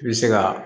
I bɛ se ka